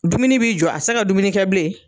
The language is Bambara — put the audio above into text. Dumuni b'i jɔ a tɛ se ka dumuni kɛ bilen.